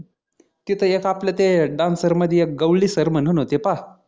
तिथे एक आपले ते dancer मध्ये एक गवंडी sir म्हणून होते पाहा